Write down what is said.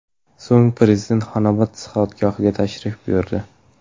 So‘ng Prezident Xonobod sihatgohiga tashrif buyurdi .